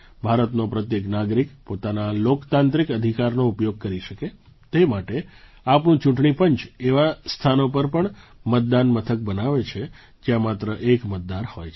ભારતનો પ્રત્યેક નાગરિક પોતાના લોકતાંત્રિક અધિકારનો ઉપયોગ કરી શકે તે માટે આપણું ચૂંટણી પંચ એવાં સ્થાનો પર પણ મતદાન મથક બનાવે છે જ્યાં માત્ર એક મતદાર હોય